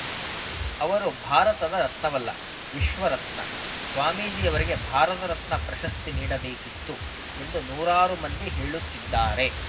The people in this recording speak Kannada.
ಅವರು ಭಾರತದ ರತ್ನವಲ್ಲ ವಿಶ್ವರತ್ನ ಸ್ವಾಮೀಜಿವರಿಗೆ ಭಾರತರತ್ನ ಪ್ರಶಸ್ತಿ ನೀಡಬೇಕಿತ್ತು ಎಂದು ನೂರಾರು ಮಂದಿ ಹೇಳುತ್ತಿದ್ದಾರೆ